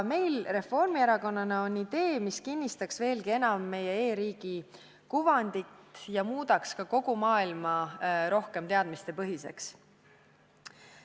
Meil Reformierakonnas on idee, mis kinnistaks veelgi enam meie e-riigi kuvandit ja muudaks kogu maailma rohkem teadmistepõhiseks.